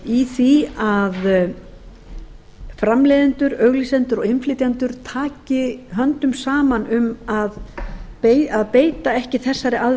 í því að framleiðendur auglýsendur og innflytjendur taki höndum saman um að beita ekki þessari